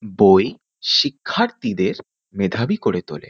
বই শিক্ষার্থীদের মেধাবী করে তোলে।